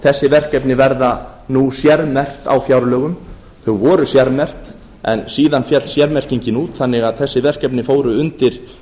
þessi verkefni verða nú sérmerkt á fjárlögum þau voru sérmerkt en síðan féll sérmerkingin út þannig að þessi verkefni fóru undir